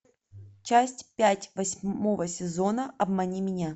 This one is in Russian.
часть пять восьмого сезона обмани меня